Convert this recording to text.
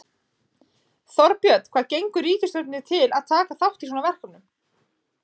Þorbjörn, hvað gengur ríkisstjórninni til að taka þátt í svona verkefni?